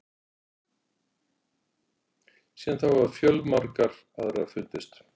Síðan þá hafa fjölmargar aðrar fundist.